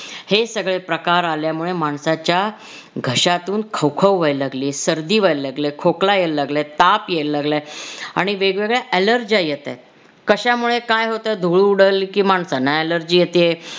हे सगळे प्रकार आल्यामुळे माणसाच्या घश्यातुन खवखव व्हायला लागलीये, सर्दी व्हायला लागलीये, खोकला यायला लागलाय, ताप यायला लागलाय आणि वेगवेगळ्या allergy येतायत. कशामुळे काय होतंय धूळ उडाली की माणसांना allergy येतेय